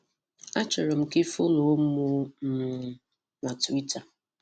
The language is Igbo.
A chọrọm ka i fọlọ mụ i fọlọ mụ um na twiita.